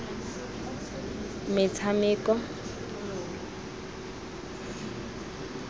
metshameko